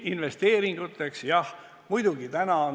Investeeringuteks, jah, muidugi.